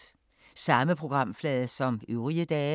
Samme programflade som øvrige dage